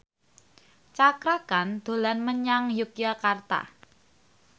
Cakra Khan dolan menyang Yogyakarta